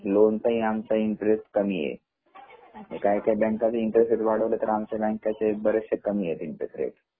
loan चा पण आमचा इंटरेस्ट आमचा कमी आहे काही काही बँका इंटरेस्ट वाढवलं तर आमच्या बँका च बरेचसे कमी आहे इंटरेस्ट